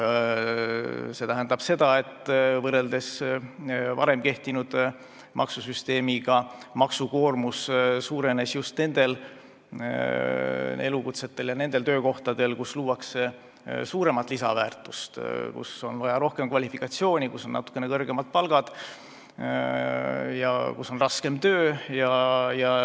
See tähendab, et võrreldes varem kehtinud maksusüsteemiga on maksukoormus suurenenud just nende elukutsete ja nende töökohtade puhul, kus luuakse suuremat lisandväärtust, kus on vaja rohkem kvalifikatsiooni, kus on natuke kõrgemad palgad ja kus on raskem töö.